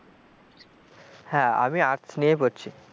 হ্যাঁ আমি arts নিয়ে পড়ছি,